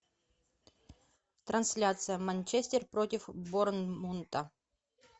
трансляция манчестер против борнмута